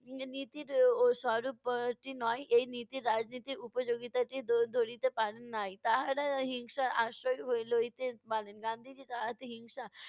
Knee~ নীতির উম স্বরূপ এর টি নয় এই নীতি রাজনীতির উপযোগিতাটি দ~ ধরিতে পান নাই। তাহারা হিংসার আশ্রয় হ~ লইতে পারেন। গান্ধিজী হিংসা